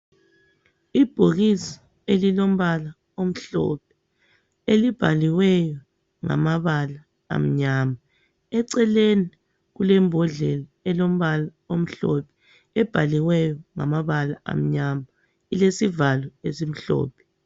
Ibhokisi elombala omhlophe elibhaliweyo ngamabala amnyama, eceleni kulebhodlela elombala omhlophe ebhaliweyo ngamabala amnyama ilesivalo esimhlophe.